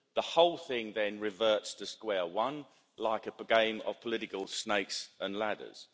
The whole thing then reverts to square one, like a game of political snakes and ladders.